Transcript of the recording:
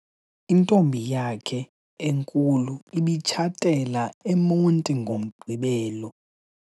Intombi yakhe enkulu ibitshatela eMonti ngoMgqibelo.